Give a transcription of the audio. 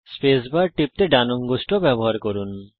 space bar টেপার জন্য আপনার ডান অঙ্গুষ্ঠ ব্যবহার করুন